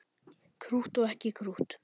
Krútt og ekki krútt.